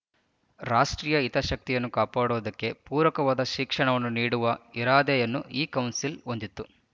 ರಾಷ್ಟ್ರೀಯ ಹಿತಾಸಕ್ತಿಯನ್ನು ಕಾಪಾಡುವುದಕ್ಕೆ ಪೂರಕವಾದ ಶಿಕ್ಷಣವನ್ನು ನೀಡುವ ಇರಾದೆಯನ್ನು ಈ ಕೌನ್ಸಿಲ್ ಹೊಂದಿತ್ತು